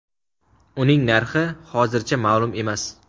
Uning narxi hozircha ma’lum emas.